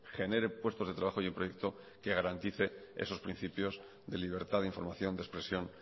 genere puestos de trabajo y el proyecto que genere garantice esos principios de libertad de información de expresión